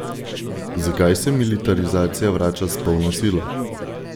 Zakaj se militarizacija vrača s polno silo?